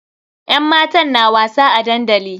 Yan matan na wasa a dandali.